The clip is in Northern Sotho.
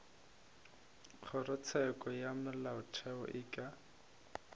kgorotsheko ya molaotheo e ka